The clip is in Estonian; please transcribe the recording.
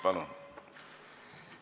Palun!